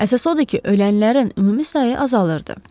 Əsas o idi ki, ölənlərin ümumi sayı azalırdı.